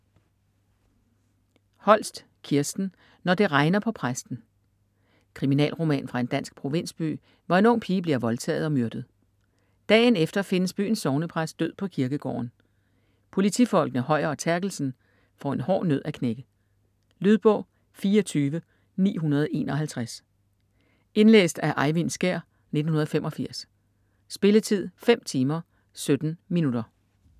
Holst, Kirsten: Når det regner på præsten Kriminalroman fra en dansk provinsby, hvor en ung pige bliver voldtaget og myrdet. Dagen efter findes byens sognepræst død på kirkegården. Politifolkene Høyer og Therkelsen får en hård nød at knække. Lydbog 24951 Indlæst af Eyvind Skjær, 1985. Spilletid: 5 timer, 17 minutter.